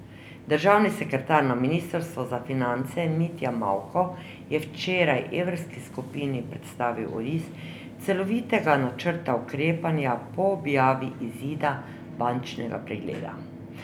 Državni sekretar na ministrstvu za finance Mitja Mavko je včeraj evrski skupini predstavil oris celovitega načrta ukrepanja po objavi izida bančnega pregleda.